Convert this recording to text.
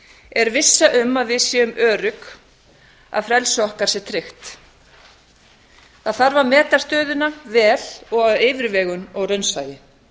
er vissa um að við séum örugg um að frelsi okkar sé tryggt það þarf að meta stöðuna vel og af yfirvegun og raunsæi